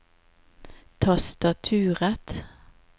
tastaturet